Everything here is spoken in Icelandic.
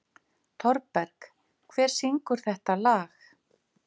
Thorberg, hver syngur þetta lag?